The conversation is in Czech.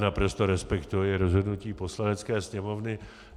Naprosto respektuji rozhodnutí Poslanecké sněmovny.